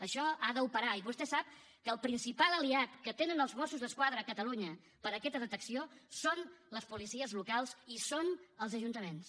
això ha d’operar i vostè sap que el principal aliat que tenen els mossos d’esquadra a catalunya per a aquesta detecció són les policies locals i són els ajuntaments